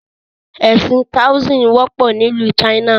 Ẹ̀sìn "Taoism" wọ́pọ̀ ni ìlú China.